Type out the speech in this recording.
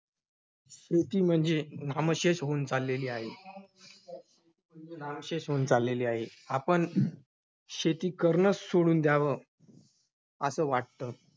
शेती म्हणजे नामशेष होऊन चाललेली आहे~ नामशेष होऊन चाललेली आहे. आपण शेती करणंच सोडून द्यावं, असं वाटतं.